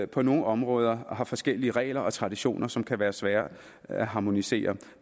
på nogle områder har forskellige regler og traditioner som kan være svære at harmonisere